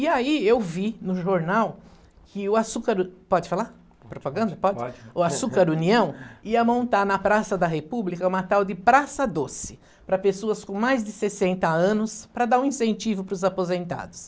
E aí eu vi no jornal que o açúcar, pode falar propaganda, pode? Pode. O Açúcar União ia montar na Praça da República uma tal de Praça Doce, para pessoas com mais de sessenta anos, para dar um incentivo para os aposentados.